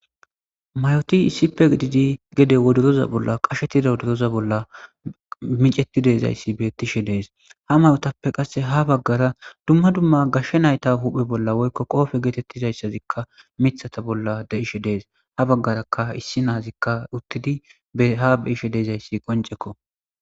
mayoti issipe gididi gede woderoza bolla qashetida wodoroza bolla micetti deezayssi bettishe dees ha mayotappe qasse ha baggara dumma dumma gashshe nayta huphe bolla woykko qoofe geetettizayssazikka mithata bolla de ishe dees ha baggarakka issi naazikka uttidi ha beishe deezayssi qoncekko